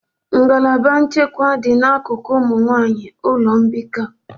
Ngalaba nchekwa dị n'akụkụ ụmụ nwanyị ụlọ mbikọ.